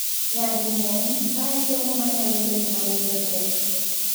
Nyading'eny, mae somo manyalo bet mawinjo tek.